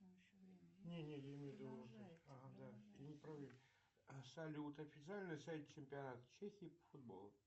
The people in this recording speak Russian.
салют официальный сайт чемпионата чехии по футболу